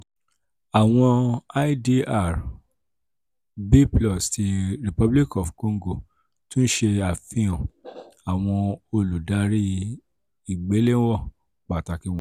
awọn idr "b+" ti republic of congo tun ṣe afihan awọn oludari igbelewọn pataki wọnyi: